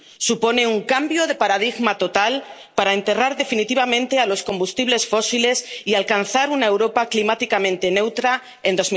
Supone un cambio de paradigma total para enterrar definitivamente los combustibles fósiles y alcanzar una Europa climáticamente neutra